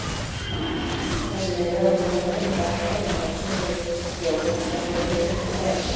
Þessi munur á grunnmenntun og-þekkingu innan hópsins hefur reynst frjór og gagnlegur fyrir þetta fræðasvið.